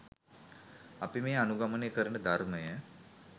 අපි මේ අනුගමනය කරන ධර්මය